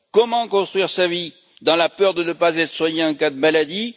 Comment construire sa vie dans la peur de ne pas être soigné en cas de maladie?